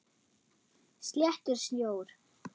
Sléttur sjór.